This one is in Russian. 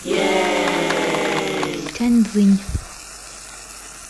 тяньцзинь